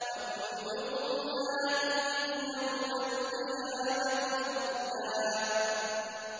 وَكُلُّهُمْ آتِيهِ يَوْمَ الْقِيَامَةِ فَرْدًا